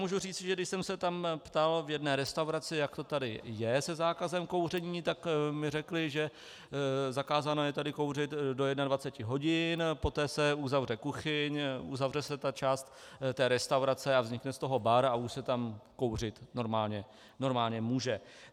Můžu říct, že když jsem se tam ptal v jedné restauraci, jak to tady je se zákazem kouření, tak mi řekli, že zakázáno je tady kouřit do 21 hodin, poté se uzavře kuchyň, uzavře se ta část té restaurace a vznikne z toho bar a už se tam kouřit normálně může.